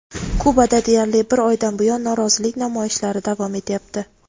Kubada deyarli bir oydan buyon norozilik namoyishlari davom etyapti.